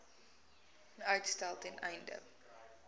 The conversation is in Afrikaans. uitstel ten einde